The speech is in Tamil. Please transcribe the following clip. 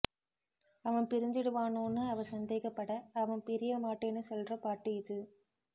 அவன் பிரிஞ்சிடுவானோன்னு அவ சந்தேகப்பட அவன் பிரிய மாட்டேன்னு சொல்ற பாட்டு இது